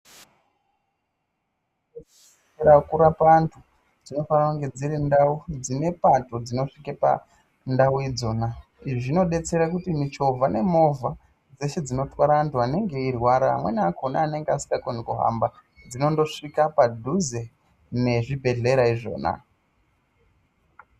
Ndau dzekurapa antu dzinofana kunge dziri ndau dzine pato dzinosvike pandau idzona. Izvi zvinobetsere kuti michovha nemovha dzeshe dzinotwara antu anenge eirwara amweni akona anenge asingakoni kuhamba, dzinondosvika padhuze nezvibhedhlera izvona.